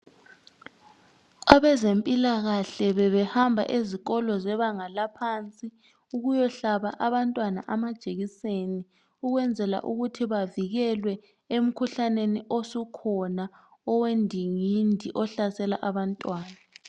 Abezempilakahle bebehamba ezikolo zebanga laphansi ukuyohlaba abantwana amajekiseni ukwenzela ukuthi bavikelwe emikhuhlaneni osukhona owendingindi ohlasela abantwana.